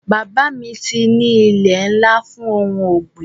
Bàbá mi ní ilé ńlá fún ohun ọ̀gbìn